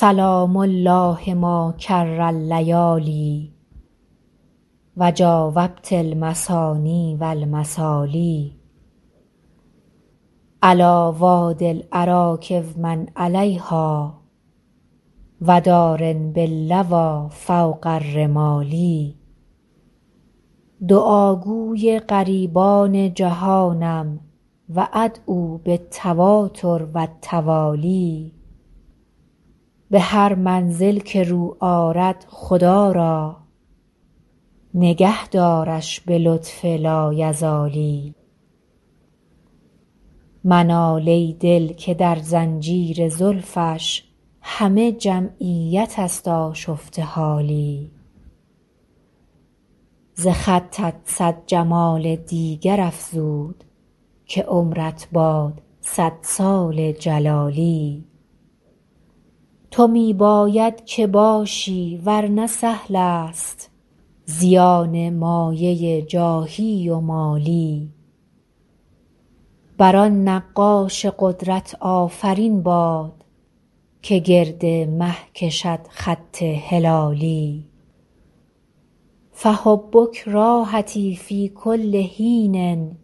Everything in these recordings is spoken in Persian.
سلام الله ما کر اللیالی و جاوبت المثاني و المثالي علیٰ وادي الأراک و من علیها و دار باللویٰ فوق الرمال دعاگوی غریبان جهانم و أدعو بالتواتر و التوالي به هر منزل که رو آرد خدا را نگه دارش به لطف لایزالی منال ای دل که در زنجیر زلفش همه جمعیت است آشفته حالی ز خطت صد جمال دیگر افزود که عمرت باد صد سال جلالی تو می باید که باشی ور نه سهل است زیان مایه جاهی و مالی بر آن نقاش قدرت آفرین باد که گرد مه کشد خط هلالی فحبک راحتی فی کل حین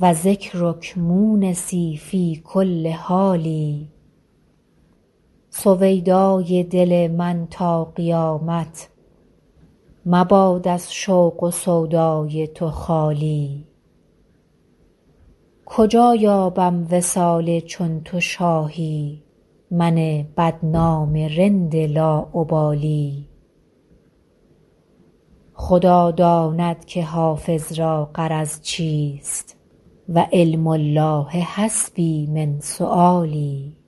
و ذکرک مونسی فی کل حال سویدای دل من تا قیامت مباد از شوق و سودای تو خالی کجا یابم وصال چون تو شاهی من بدنام رند لاابالی خدا داند که حافظ را غرض چیست و علم الله حسبي من سؤالي